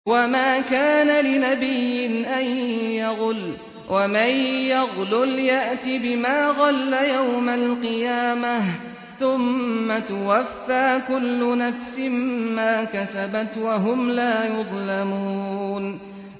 وَمَا كَانَ لِنَبِيٍّ أَن يَغُلَّ ۚ وَمَن يَغْلُلْ يَأْتِ بِمَا غَلَّ يَوْمَ الْقِيَامَةِ ۚ ثُمَّ تُوَفَّىٰ كُلُّ نَفْسٍ مَّا كَسَبَتْ وَهُمْ لَا يُظْلَمُونَ